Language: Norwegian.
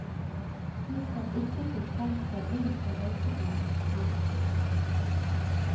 De som ikke fikk trengt seg inn på røykeplass, gikk.